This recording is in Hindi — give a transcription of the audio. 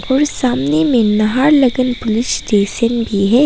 और सामने में नहालगन पुलिस स्टेशन भी है।